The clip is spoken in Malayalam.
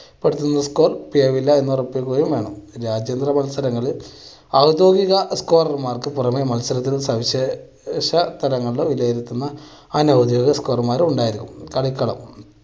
എന്നുറപ്പിക്കുകയും വേണം. രാജ്യങ്ങളുടെ മത്സരങ്ങള് ഔദ്യോഗിക scorer മാർക്ക് പുറമേ മത്സരത്തിലും സവിശേഷ സ്ഥലങ്ങളിലും ഉപയോഗിക്കുന്ന അനൌദ്യോഗിക ഉണ്ടായിരിക്കും. കളിക്കളം